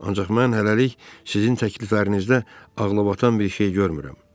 Ancaq mən hələlik sizin təkliflərinizdə ağlabatan bir şey görmürəm.